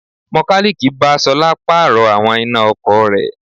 Mọkálíìkì bá Ṣọlá Pààrọ̀ àwọn iná ọkọ̀ rẹ̀